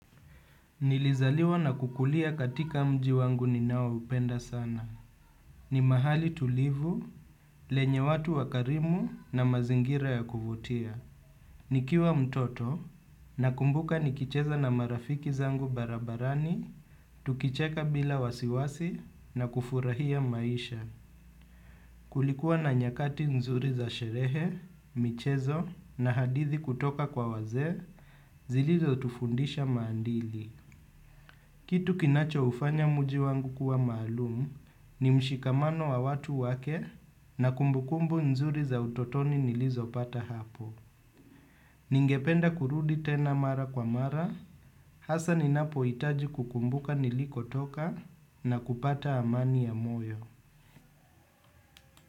Nilizaliwa na kukulia katika mji wangu ninaoupenda sana. Ni mahali tulivu, lenye watu wakarimu na mazingira ya kuvutia. Nikiwa mtoto nakumbuka nikicheza na marafiki zangu barabarani, tukicheka bila wasiwasi na kufurahia maisha. Kulikuwa na nyakati nzuri za sherehe, michezo na hadithi kutoka kwa wazee zilizotufundisha maadili. Kitu kinachoufanya mji wangu kuwa maalum ni mshikamano wa watu wake na kumbukumbu nzuri za utotoni nilizopata hapo. Ningependa kurudi tena mara kwa mara, hasa ninapohitaji kukumbuka nilikotoka na kupata amani ya moyo.